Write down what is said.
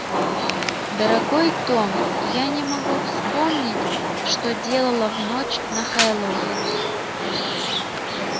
дорогой том я не могу вспомнить что делала в ночь на хэллоуин